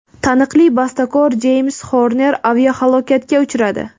Taniqli bastakor Jeyms Xorner aviahalokatga uchradi.